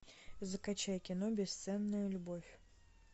закачай кино бесценная любовь